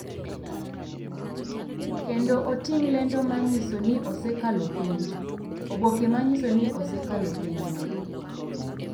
kendo oting’ lendo ma nyiso ni osekalo penj (oboke ma nyiso ni osekalo penjno).